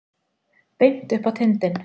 Beint upp á tindinn.